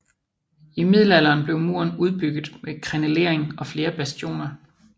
I middelalderen blev muren udbygget med krenelering og flere bastioner